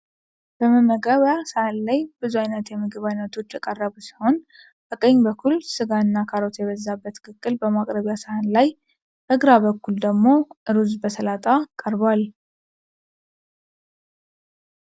በመመገቢያ ሳህን ላይ ብዙ አይነት የምግብ አይነቶች የቀረቡ ሲሆን፤ በቀኝ በኩል ስጋ እና ካሮት የበዛበት ቅቅል በማቅረቢያ ሳህን ላይ፤ በግራ በኩል ደግሞ ሩዝ በሰላጣ ቀርቧል።